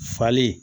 Falen